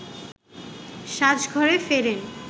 সাজঘরে ফেরেন